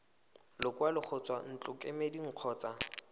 lekwalo go tswa ntlokemeding kgotsa